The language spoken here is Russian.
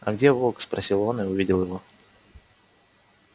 а где волк спросил он и увидел его